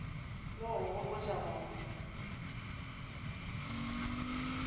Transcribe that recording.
le go go gopotša go